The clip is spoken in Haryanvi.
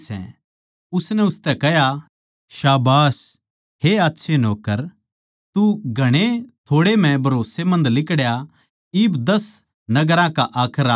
उसनै उसतै कह्या शाबाश हे आच्छे नौक्कर तू घणेए थोड़े म्ह भरोसमंद लिकड़या इब दस नगरां का हक राख